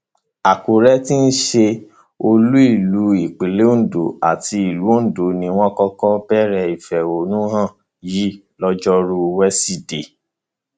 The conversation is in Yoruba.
àkùrẹ tí í ṣe olú ìlú ìpínlẹ ondo àti ìlú ondo ni wọn kọkọ bẹrẹ ìfẹhónú hàn yìí lọjọrùú wẹsídẹẹ